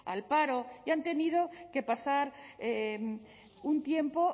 al paro y han tenido que pasar un tiempo